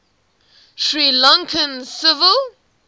sri lankan civil